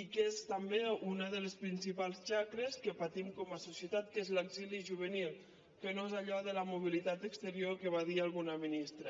i que és també una de les principals xacres que patim com a societat que és l’exili juvenil que no és allò de la mobilitat exterior que va dir alguna ministra